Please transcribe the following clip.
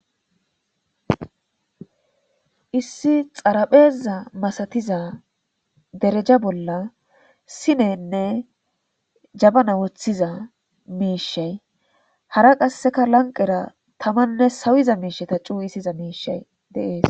issi xarapheza masatiza dereja bolla sinenne jabana woththiza miishey hara qasseka lanqera tamanne sawiza miisheta cuu issiza miishey deees